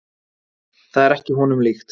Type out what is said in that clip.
Það er ekki honum líkt.